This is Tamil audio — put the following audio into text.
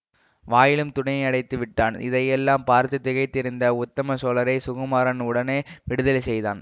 வாயிலும் துணி அடைத்து விட்டான் இதையெல்லாம் பார்த்து திகைத்திருந்த உத்தம சோழரை சுகுமாரன் உடனே விடுதலை செய்தான்